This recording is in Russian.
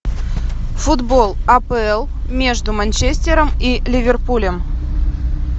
футбол апл между манчестером и ливерпулем